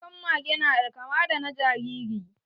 Kukar mage na kamar da na jariri